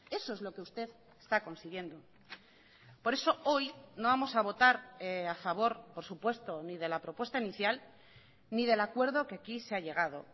eso es lo que usted está consiguiendo por eso hoy no vamos a votar a favor por supuesto ni de la propuesta inicial ni del acuerdo que aquí se ha llegado